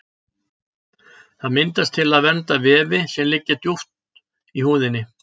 Það myndast til að vernda vefi sem liggja dýpra í húðinni.